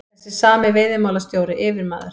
Þessi sami veiðimálastjóri, yfirmaður